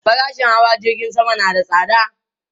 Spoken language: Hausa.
Farashin hawa jirgin sama na da tsada